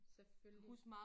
Selvfølgelig